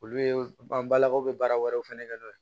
Olu ye an balakaw be baara wɛrɛw fɛnɛ kɛ n'o ye